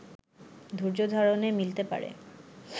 ধৈর্যধারণে মিলতে পারে